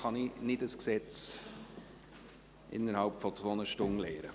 Ich kann kein Gesetz innerhalb von zwei Stunden soweit lernen.